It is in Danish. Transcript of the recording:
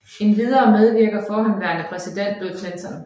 Endvidere medvirker forhenværende præsident Bill Clinton